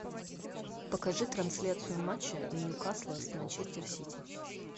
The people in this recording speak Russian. покажи трансляцию матча ньюкасла с манчестер сити